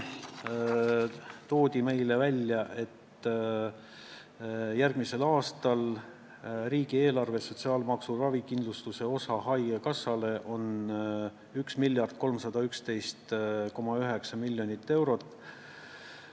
Toodi välja, et järgmisel aastal on riigieelarve sotsiaalmaksu ravikindlustuse osa haigekassale 1311,9 miljonit eurot.